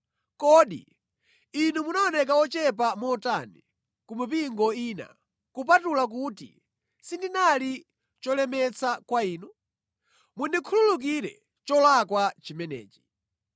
Kodi inu munaoneka ochepa motani ku mipingo ina, kupatula kuti sindinali cholemetsa kwa inu? Mundikhululukire cholakwa chimenechi!